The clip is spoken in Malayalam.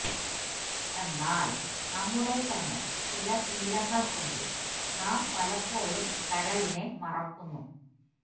എന്നാല് നമ്മുടെ തന്നെ ചില ശീലങ്ങള് കൊണ്ട് നാം പലപ്പോഴും കരളിനെ മറക്കുന്നു